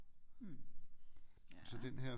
Hm ja